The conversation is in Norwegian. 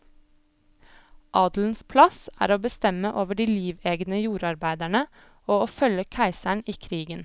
Adelens plass er å bestemme over de livegne jordarbeiderne, og å følge keiseren i krigen.